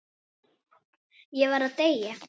Ég var að deyja!